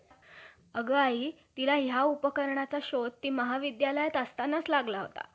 बरे, तुझी मर्जी. तसे का होईना, आता ब्रम्हानास जन्म देणारे जे ब्राम्हणाचे मुख ते दरमहाचे~ दरमहा दुसरे झाल्यामुळे,